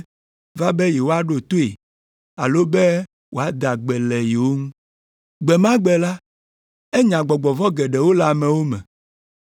va be yewoaɖo toe alo be wòada gbe le yewo ŋu. Gbe ma gbe la, enya gbɔgbɔ vɔ̃ geɖewo le amewo me.